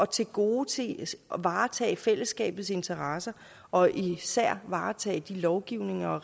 tilgodese og varetage fællesskabets interesser og især varetage den lovgivning og